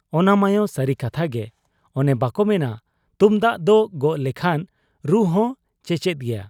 ᱼᱼᱚᱱᱟᱢᱟᱭᱚ ᱥᱟᱹᱨᱤ ᱠᱟᱛᱷᱟ ᱜᱮ ᱾ ᱚᱱᱮ ᱵᱟᱠᱚ ᱢᱮᱱᱟ ᱛᱩᱢᱫᱟᱹᱜ ᱫᱚ ᱜᱚᱜ ᱞᱮᱠᱷᱟᱱ ᱨᱩᱦᱚᱸ ᱪᱮᱪᱮᱫ ᱜᱮᱭᱟ ᱾